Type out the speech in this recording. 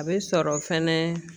A bɛ sɔrɔ fɛnɛ.